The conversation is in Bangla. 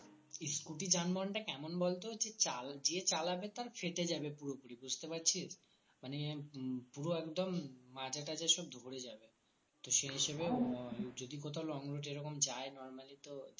scooty যানবাহন তা কেমন বলতো যে চাল যে চালাবে তার ফেটে যাবে পুরোপুরি বুঝতে পারছিস মানে উম পুরো একদম মাজাটাজা সব ধরে যাবে তো সেই হিসাবে উম যদি কোথাও long route এরকম যায় normally তো